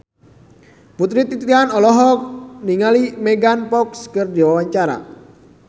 Putri Titian olohok ningali Megan Fox keur diwawancara